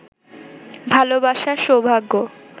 ভালোবাসা, সৌভাগ্য